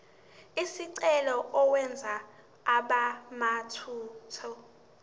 lesicelo uwenze abemathathu